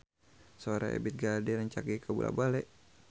Sora Ebith G. Ade rancage kabula-bale